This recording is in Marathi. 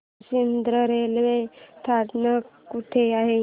जुचंद्र रेल्वे स्थानक कुठे आहे